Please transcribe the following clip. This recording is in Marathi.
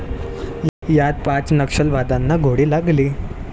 यात पाच नक्षलवाद्यांना गोळी लागली.